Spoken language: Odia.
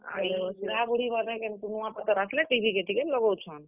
ବୁଢାବୁଢୀମାନେ, କେନ୍ କୁନୁଆଁ ପାତର୍ ଆସ୍ ଲେ TV କେ ଟିକେ ଲଗଉଛନ୍।